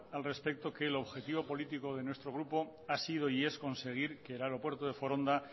al respecto que el objetivo político de nuestro grupo ha sido y es conseguir que el aeropuerto de foronda